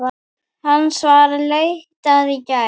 Hans var leitað í gær.